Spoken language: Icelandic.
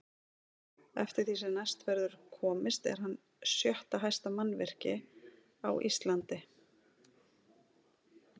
Eftir því sem næst verður komist er hann sjötta hæsta mannvirki á Íslandi.